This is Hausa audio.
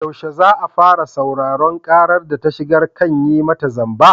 Yaushe za a fara sauraron ƙarar da ta shigar kan yi mata zamba?